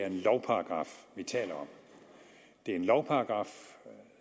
en lovparagraf det er en lovparagraf